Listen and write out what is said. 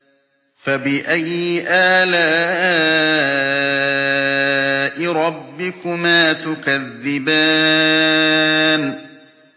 فَبِأَيِّ آلَاءِ رَبِّكُمَا تُكَذِّبَانِ